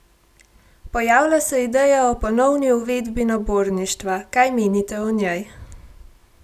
Pojavlja se ideja o ponovni uvedbi naborništva, kaj menite o njej?